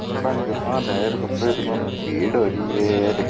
कपडे की दुकान है और कपडे की दुकान पर भीड़ हो रही है।